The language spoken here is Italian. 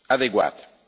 adeguate.